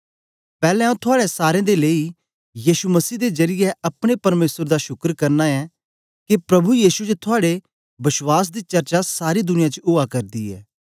पैलैं आंऊँ थुआड़े सारे दे लेई यीशु मसीह दे जरीयै अपने परमेसर दा शुकर करना ऐं गी के प्रभु यीशु च थुआड़े विश्वास दी चर्चा सारी दुनिया च उआ करदी ऐ